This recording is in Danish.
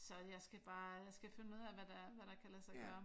Så jeg skal bare jeg skal finde ud af hvad der hvad der kan lade sig gøre